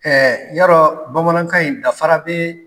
yadɔ bamanankan in dafara bɛ